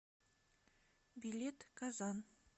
билет казан